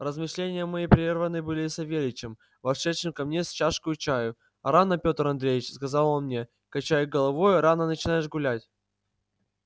размышления мои прерваны были савельичем вошедшим ко мне с чашкою чаю а рано петр андреич сказал он мне качая головою рано начинаешь гулять